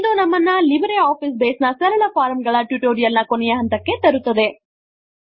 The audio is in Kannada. ಇದು ನಮ್ಮನ್ನು ಲಿಬ್ರೆ ಆಫೀಸ್ ಬೇಸ್ ನ ಸರಳ ಫಾರ್ಮ್ ಗಳ ಟ್ಯುಟೋರಿಯಲ್ ನ ಕೊನೆಯ ಹಂತಕ್ಕೆ ತರುತ್ತದೆ